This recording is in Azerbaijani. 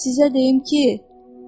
Sizə deyim ki,